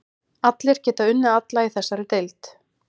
Allir geta unnið alla í þessari deild.